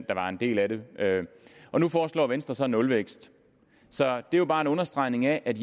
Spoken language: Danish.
der var en del af det og nu foreslår venstre så nulvækst så det er jo bare en understregning af at